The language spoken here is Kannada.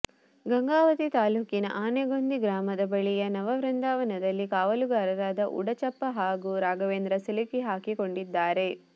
ಗಂಗಾವತಿ ತಾಲೂಕಿನ ಆನೆಗೊಂದಿ ಗ್ರಾಮದ ಬಳಿಯ ನವವೃಂದಾವನದಲ್ಲಿ ಕಾವಲುಗಾರರಾದ ಉಡಚಪ್ಪ ಹಾಗೂ ರಾಘವೇಂದ್ರ ಸಿಲುಕಿ ಹಾಕಿಕೊಂಡಿದ್ದಾರೆ